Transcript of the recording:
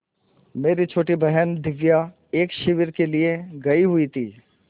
मेरी छोटी बहन दिव्या एक शिविर के लिए गयी हुई थी